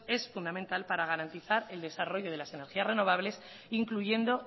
es fundamental para garantizar el desarrollo de las energías renovables incluyendo